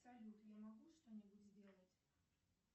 салют я могу что нибудь сделать